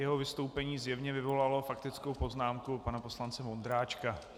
Jeho vystoupení zjevně vyvolalo faktickou poznámku pana poslance Vondráčka.